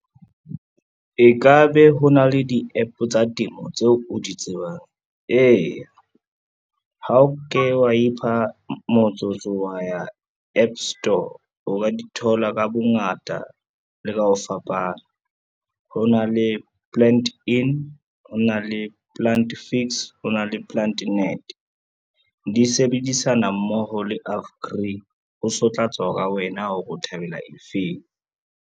E ka be ho na le di-App tsa temo tseo o di tsebang? Eya, ha o ke wa ipha motsotso wa ya App Store, o ka di thola ka bongata le ka ho fapana. Ho na le PlantIn, ho na le Plant Fix, ho na le PlantNet, di sebedisana mmoho le . Ho so tla tswa ka wena hore o thabela e feng.